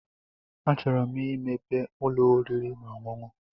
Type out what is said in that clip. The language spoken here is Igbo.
A chụrụ 'm i mepee ụlọ oriri na ọṅụṅụ.